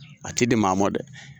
A tɛ di maa ma dɛ.